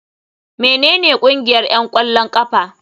Menene ƙungiyar 'yan ƙwallon ƙafa?